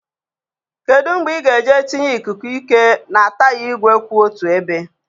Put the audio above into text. Kedu mgbe ị ga-aga tinye ikuku ike na taya igwe kwụ otu ebe?